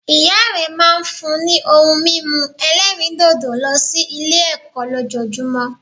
Ìya rẹ máa n fún ni ohun mímu ẹlẹ́rìndòdò lọ sí Ilé ẹ̀kọ́ lójojúmó